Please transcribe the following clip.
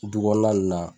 Du kɔnɔna ninnu na